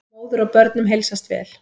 Móður og börnum heilsast vel.